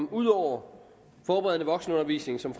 at ud over forberedende voksenundervisning som